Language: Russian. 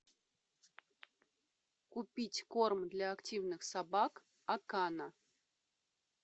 купить корм для активных собак акана